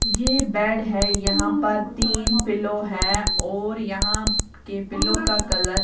ये बेड है यहां पर तीन पिलो है और यहां के पिलो का कलर --